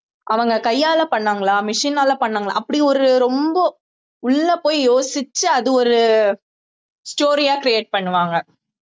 அவங்க கையால பண்ணாங்களா machine னால பண்ணாங்களா அப்படி ஒரு ரொம்ப உள்ள போய் யோசிச்சு அது ஒரு story ஆ create பண்ணுவாங்க